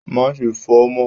Máa ṣe fò mọ́!